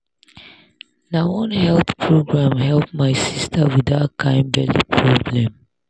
na one health program help my sister with that kind belly problem.